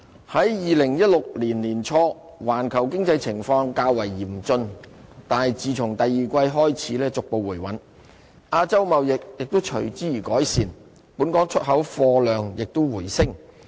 在2016年年初，環球經濟情況較為嚴峻，但自從第二季開始逐步回穩，亞洲貿易亦隨之而改善，本港出口貨量亦回升。